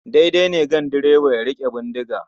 Daidai ne ganduroba ya riƙe bindiga.